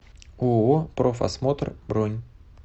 ооо профосмотр бронь